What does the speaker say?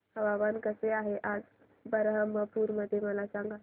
हवामान कसे आहे आज बरहमपुर मध्ये मला सांगा